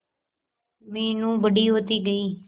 मीनू बड़ी होती गई